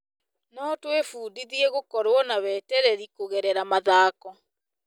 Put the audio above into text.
No twĩbundithie gũkorwo na wetereri kũgerera mathako.